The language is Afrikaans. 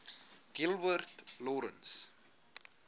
gilbert lawrence